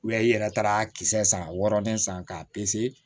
i yɛrɛ taara a kisɛ san wɔɔrɔnen san k'a pese